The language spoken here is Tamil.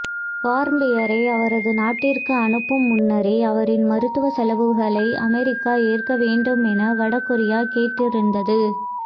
வார்ம்பியரை அவரது நாட்டிற்கு அனுப்பும் முன்னரே அவரின் மருத்துவ செலவுகளை அமெரிக்கா ஏற்க வேண்டும் என வட கொரியா கேட்டிருந்தது